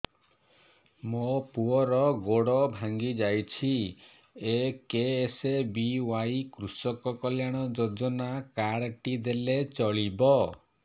ମୋ ପୁଅର ଗୋଡ଼ ଭାଙ୍ଗି ଯାଇଛି ଏ କେ.ଏସ୍.ବି.ୱାଇ କୃଷକ କଲ୍ୟାଣ ଯୋଜନା କାର୍ଡ ଟି ଦେଲେ ଚଳିବ